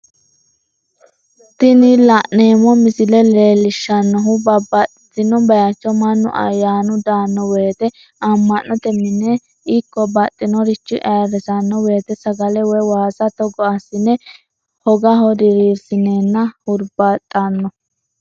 Tini la'neemo misile leellishanohu babbaxino bayicho manu ayyaanu daano woyite amanote mine ikko baxxinoricho ayyirisano woyite sagale woyi waasa togo asine hogaho diriirisineenna huribaaxxano